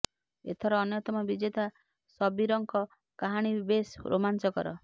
ଏଥର ଅନ୍ୟତମ ବିଜେତା ଶବୀରଙ୍କ କାହାଣୀ ବି ବେଶ୍ ରୋମାଞ୍ଚକର